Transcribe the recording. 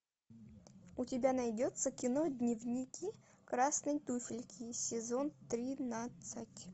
у тебя найдется кино дневники красной туфельки сезон тринадцать